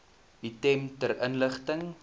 item ter inligting